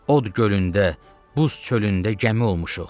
Od gölündə, buz çölündə gəmi olmuşuq.